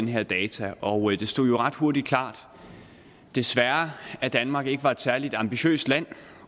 her data og det stod ret hurtigt klart desværre at danmark ikke er et særlig ambitiøst land